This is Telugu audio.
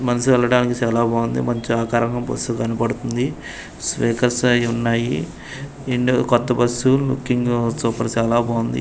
మనసు వెళ్ళడానికి చాలా బాగుంది మంచి ఆకారంగా బస్సు కనపడుతుంది స్పీకర్స్ అయి ఉన్నాయి కొత్త బస్సు లుకింగు సూపర్ షాలా బాగుంది.